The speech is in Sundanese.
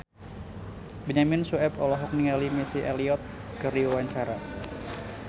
Benyamin Sueb olohok ningali Missy Elliott keur diwawancara